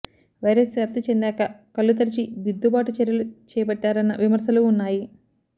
virus వ్యాప్తి చెందాక కళ్లు తెరిచి దిద్దుబాటు చర్యలు చేపట్టారన్న విమర్శలూ ఉన్నాయి